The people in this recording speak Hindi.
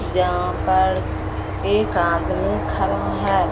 जहां पर एक आदमी खरा है।